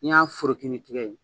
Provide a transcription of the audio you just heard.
N'i y'a foroki n'i tɛgɛ ye